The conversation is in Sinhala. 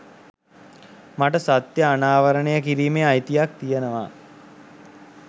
මට සත්‍ය අනාවරණය කිරීමේ අයිතියක් තියෙනවා